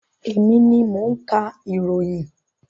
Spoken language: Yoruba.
Emi ni mo ń ka ìròyìn.